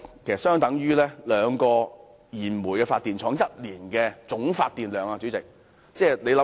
這相等於兩家燃煤發電廠一年的總發電量。